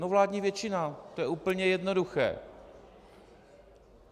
No, vládní většina, to je úplně jednoduché.